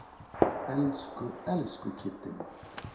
Elsku, elsku Kiddi minn.